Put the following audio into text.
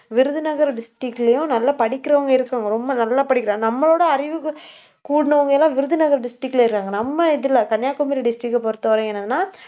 Virudhunagar district லயும், நல்லா படிக்கிறவங்க இருக்கிறவங்க ரொம்ப நல்லா படிக்கிறாங்க. நம்மளோட அறிவுக்கு கூடுனவங்க எல்லாம் விருதுநகர் district ல இருக்காங்க. நம்ம இதுல கன்னியாகுமரி district அ பொறுத்தவரை என்னன்னா